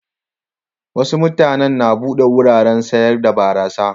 Wasu mutanen na bude wuraren sayar da barasa.